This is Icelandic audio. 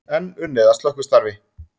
Enn unnið að slökkvistarfi